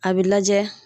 A bɛ lajɛ